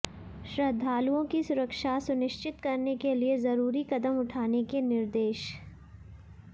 श्रद्धालुओं की सुरक्षा सुनिश्चित करने के लिए जरूरी कदम उठाने के निर्देश